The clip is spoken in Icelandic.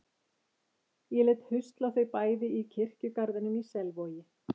Ég lét husla þau bæði í kirkjugarðinum í Selvogi.